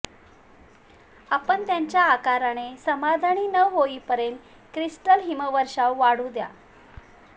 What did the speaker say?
आपण त्यांच्या आकाराने समाधानी न होईपर्यंत क्रिस्टल्स हिमवर्षावर वाढू द्या